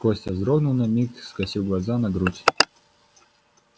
костя вздрогнул на миг скосил глаза на грудь